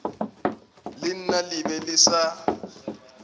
lena le be le sa